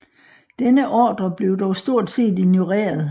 Denne ordrer blev dog stort set ignoreret